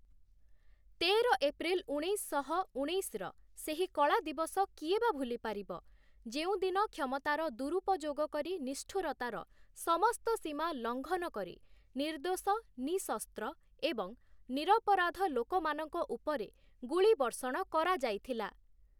ତେର ଏପ୍ରିଲ୍ ଉଣେଇଶଶହ ଉଣେଇଶର ସେହି କଳାଦିବସ କିଏ ବା ଭୁଲିପାରିବ, ଯେଉଁଦିନ କ୍ଷମତାର ଦୁରୂପଯୋଗ କରି ନିଷ୍ଠୁରତାର ସମସ୍ତ ସୀମା ଲଂଘନ କରି ନିର୍ଦ୍ଦୋଷ, ନିଃଶସ୍ତ୍ର ଏବଂ ନିରପରାଧ ଲୋକମାନଙ୍କ ଉପରେ ଗୁଳିବର୍ଷଣ କରାଯାଇଥିଲା ।